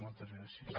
moltes gràcies